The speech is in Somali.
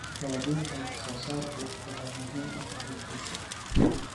Raadinta wax soo saarku waxay muhiim u tahay guusha.